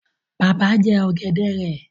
Bàbá jẹ ọ̀gẹ̀dẹ̀ rẹ